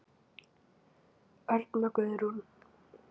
Örn og Guðrún.